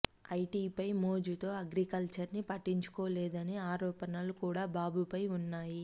ఐటీపై మోజుతో అగ్రీకల్చర్ ని పట్టించుకోలేదని ఆరోపణలు కూడా బాబుపై వున్నాయి